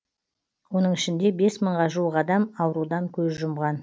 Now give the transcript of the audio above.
оның ішінде бес мыңға жуық адам аурудан көз жұмған